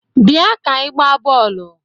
Bia ka ị gbaa bọọlụ!